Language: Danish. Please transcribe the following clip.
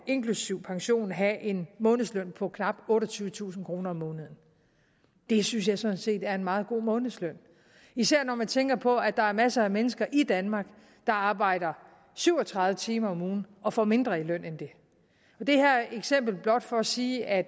inklusive pension vil have en månedsløn på knap otteogtyvetusind kroner om måneden det synes jeg sådan set er en meget god månedsløn især når man tænker på at der er masser af mennesker i danmark der arbejder syv og tredive timer om ugen og får mindre i løn end det det her eksempel er blot for at sige at